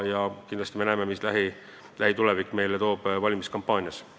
Eks me näeme, mida toob lähitulevik meile valimiskampaania käigus.